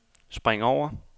spring over